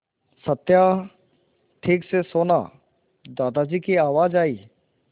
सत्या ठीक से सोना दादाजी की आवाज़ आई